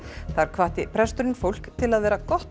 þar hvatti presturinn fólk til að vera gott